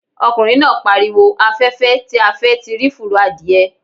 Ọkùnrin náà pariwo 'afẹ́fẹ́ ti fẹ́ a ti rí fùrọ̀ adìẹ'